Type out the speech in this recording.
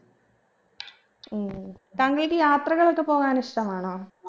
ഉം താങ്കൾക്ക് യാത്രകളൊക്കെ പോവാൻ ഇഷ്ടമാണോ